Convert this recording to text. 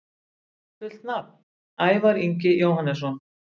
Fullt nafn: Ævar Ingi Jóhannesson